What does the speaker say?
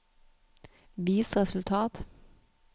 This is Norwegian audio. vis resultat